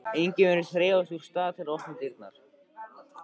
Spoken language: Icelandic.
Enginn virðist hreyfast úr stað til að opna dyrnar.